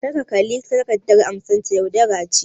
Kar ka kalli takardar amsata - yaudara ce.